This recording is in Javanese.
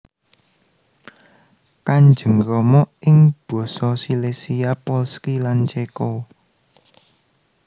Kanjeng Rama ing Basa Silesia Polski lan Céko